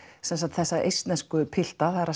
sem sagt þess eistnesku pilta það er að